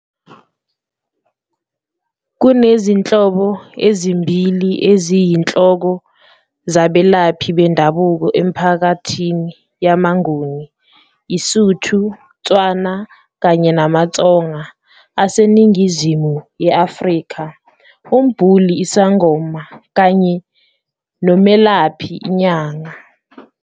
Kunezinhlobo ezimbili eziyinhloko zabelaphi bendabuko emiphakathini yamaNguni, iSotho-Tswana, kanye namaTsonga aseNingizimu ye-Afrika - umbhuli, isangoma, kanye nomelaphi, inyanga.